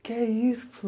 O que é isso?